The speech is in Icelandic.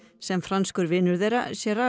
sem franskur vinur þeirra